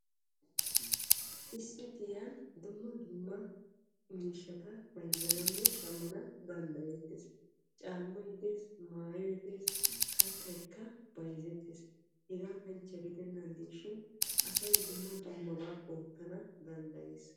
Issi giyan dumma dumma miishshatta bayzzananne shamanna danddayettees caamay dees maayoy dees harabay qassi asay dumma dummaba oottana danddayees.